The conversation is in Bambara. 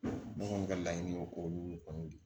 Ne kɔni ka laɲini ye o de kɔni ye